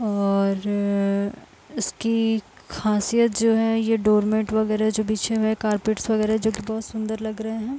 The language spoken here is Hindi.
और इसकी खासियत जो है ये डोरमेट वगैरह जो बिछे हुए हैं। कारपेट्स वगैरह जोकि बहोत सुंदर लग रहे हैं।